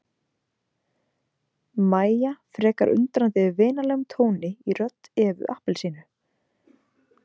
Mæja frekar undrandi yfir vinalegum tóni í rödd Evu appelsínu.